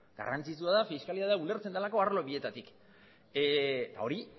garrantzitsua da fiskalidadea ulertzen delako arlo bietatik eta hori